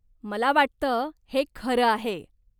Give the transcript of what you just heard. मला वाटतं हे खरं आहे.